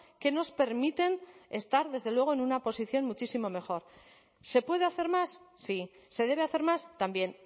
que nos permiten estar desde luego en una posición muchísimo mejor se puede hacer más sí se debe hacer más también